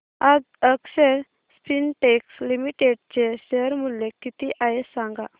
आज Akshar Spintex Limited चे share मूल्य किती आहे सांगा